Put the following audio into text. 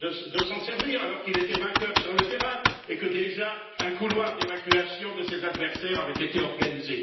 de s'en servir, alors qu'il était vainqueur sur le terrain et que, déjà, un couloir d'évacuation de ses adversaires avait été organisé?